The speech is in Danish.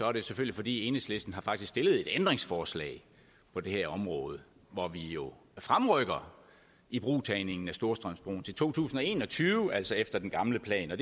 er det selvfølgelig fordi enhedslisten faktisk har stillet et ændringsforslag på det her område hvor vi jo fremrykker ibrugtagningen af storstrømsbroen til to tusind og en og tyve altså efter den gamle plan jeg